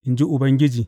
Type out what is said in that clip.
in ji Ubangiji.